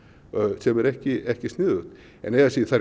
sem er ekki ekki sniðugt en eigi að síður þær